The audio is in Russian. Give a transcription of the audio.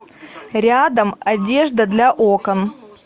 рядом одежда для окон